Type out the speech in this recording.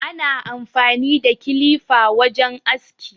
Ana amfani da kilifa wajen aski.